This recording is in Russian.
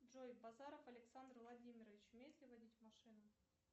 джой базаров александр владимирович умеет ли водить машину